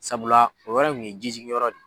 Sabula o yɔrɔ in kun ye ji jigiyɔrɔ de.